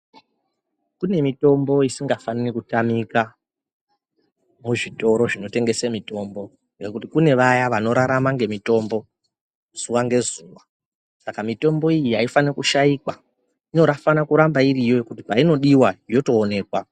Kune mitombo isingafaniri kutamika muzvitoro zvinotengese mitombo nokuti kune vaya vanorarama ngemitombo zuva nezuva, saka mitombo iyi aifaniri kushaikwa, inofane kuramba iriyo kuti painodiwa yotooneka.